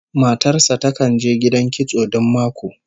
Matar sa takan je gidan kitso duk mako